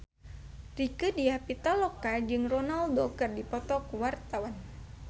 Rieke Diah Pitaloka jeung Ronaldo keur dipoto ku wartawan